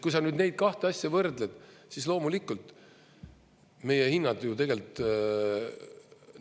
Kui sa nüüd neid kahte asja võrdled, siis loomulikult meie hinnad ju tegelikult …